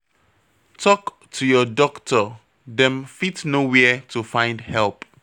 Tok to your doctor, dem fit know where to find help